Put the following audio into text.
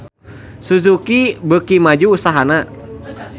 Suzuki beuki maju usahana